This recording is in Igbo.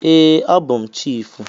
Ee, abụ m chiịfụ.